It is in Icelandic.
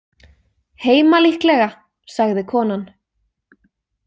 Heima líklega, sagði konan.